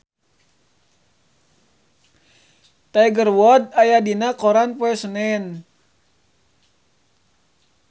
Tiger Wood aya dina koran poe Senen